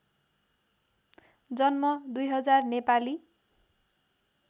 जन्म २००० नेपाली